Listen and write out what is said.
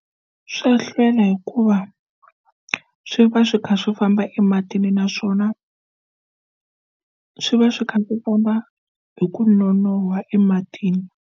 Swo hlwela hikuva swi va swi kha swo famba ematini naswona swi va swi kha ku komba hi ku nonoha ematini.